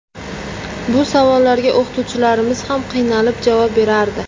Bu savollarga o‘qituvchilarimiz ham qiynalib javob berardi.